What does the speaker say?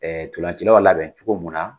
Ɛɛ ntolancilaw labɛn cogo mun na